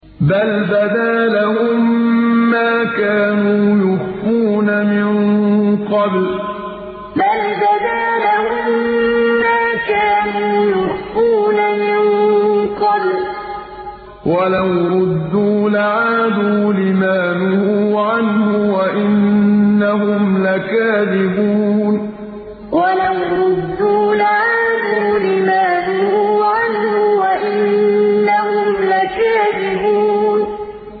بَلْ بَدَا لَهُم مَّا كَانُوا يُخْفُونَ مِن قَبْلُ ۖ وَلَوْ رُدُّوا لَعَادُوا لِمَا نُهُوا عَنْهُ وَإِنَّهُمْ لَكَاذِبُونَ بَلْ بَدَا لَهُم مَّا كَانُوا يُخْفُونَ مِن قَبْلُ ۖ وَلَوْ رُدُّوا لَعَادُوا لِمَا نُهُوا عَنْهُ وَإِنَّهُمْ لَكَاذِبُونَ